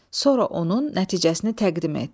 Sonra onun nəticəsini təqdim et.